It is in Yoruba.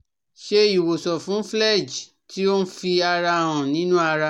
So iwosan fún phlegm ti o n fi ara han ninu ara